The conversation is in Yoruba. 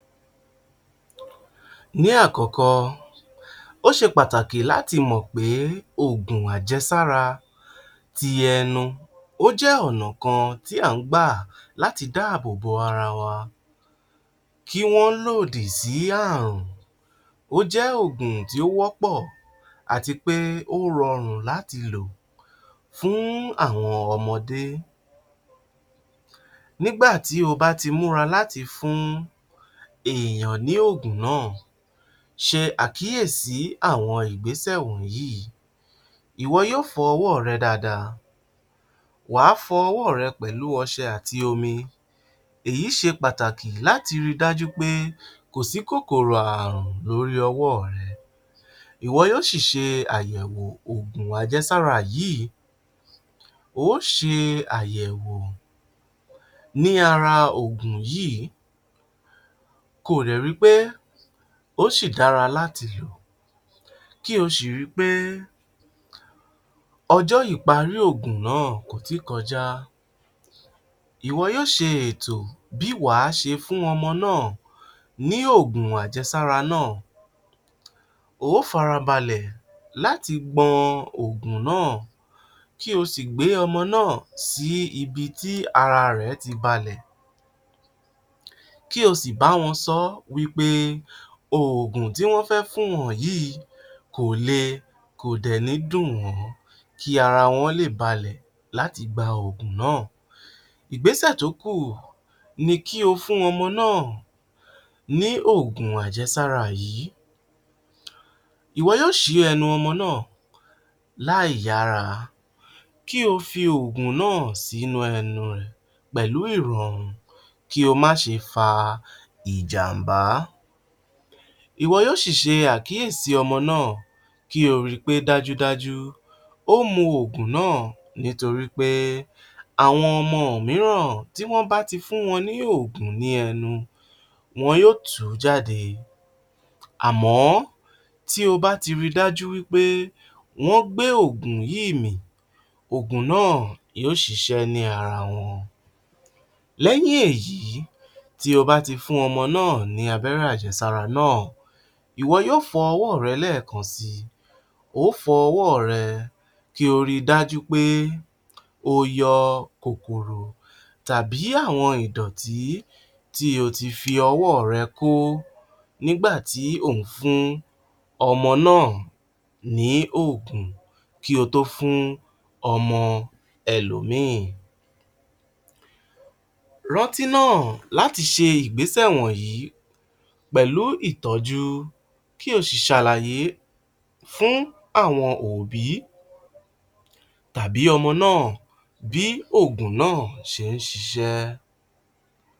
Ní àkọ́kọ́, ó ṣe pàtàkì láti mọ̀ pé oògùn ajẹ́sára ti ẹnu ó jẹ́ ọ̀nà kan tí à ń gbà láti dáàbò bo ara wa kí wọ́n lòdì sí ààrùn, ó jẹ́ oògùn tí ó wọ́pọ̀ àti pé ó rọrùn láti lò fún àwọn ọmọdé, nígbà tí o bá ti múra láti fún èèyàn ní oògùn náà ṣe àkíyèsí àwọn ìgbésẹ̀ wọ̀nyíì. Ìwọ yóò fọ ọwọ́ rẹ dáadáa, wà á fọ ọwọ́ rẹ pẹ̀lú ọṣẹ àti omi, èyí ṣe pàtàkì láti ri dájú wí pé kò sí kòkòrò ààrùn lórí ọwọ́ rẹ, ìwọ yóò sì ṣe àyẹ̀wò oògùn ajẹ́sára yìí, o ó ṣe àyẹ̀wò ní ara ògùn yíì ko dẹ̀ ri pé ó ṣì dára láti lò kí o ṣì ri pé ọjọ́ ìparí oògùn náà kò tí ì kọjá, ìwọ yóò ṣe ètò bí wà á ṣe fún ọmọ náà ní oògùn ajẹ́sára náà, o ó farabalẹ̀ láti gbọn oògùn náà kí o sì gbé ọmọ náà sí ibi tí ara rẹ̀ ti balẹ̀, kí o sì bá wọn sọ ọ́ wí pé oògùn tí wọ́n fẹ́ fún wọn yìí kò le kò dẹ̀ ní dùn wọ́n kí ara wọn lè balẹ̀ láti gba oògùn náà. Ìgbésẹ̀ tó kù ni kí o fún ọmọ náà ní oògùn ajẹ́sára yìí, ìwọ yóò ṣí ẹnu ọmọ náà láì yára kí o fi oògùn sí inú ẹnu ẹ pẹ̀lú ìrọ̀rùn kí ó má ṣe fa ìjàǹbá, ìwọ yóò ṣì ṣe àkíyèsí ọmọ náà ko ri pé dájúdájú ó mu oògùn náà nítorí pé àwọn ọmọ mìíràn tí wọ́n bá ti fún wọn ní oògùn nínú ẹnu wọn yóò tu ú jáde àmọ́ tí o bá ti ri wí pé wọ́n gbé òògùn náà mì òògùn náà yóò ṣiṣẹ́ ní ara wọn, lẹ́yìn èyí tí o bá ti fún ọmọ náà ní abẹ́rẹ́ ajẹ́sára náà, ìwọ yóò fọ ọwọ́ rẹ lẹ́ẹkan si, o ó fọ ọwọ́ rẹ kí o ri dájú wí pé o yọ kòkòrò tàbí àwọn ìdọ̀tì tí o ti fi ọwọ́ rẹ kó nígbà tí ò ń fún ọmọ náà ní òògùn ko tó fún ọmọ ẹlòmíì, rántí náà láti ṣe ìgbéṣẹ̀ wọ̀nyí pẹ̀lú ìtọ́jú kí o sì ṣàlàyé fún àwọn òbí tàbí ọmọ náà bí oògùn náà ṣe ń ṣiṣẹ́.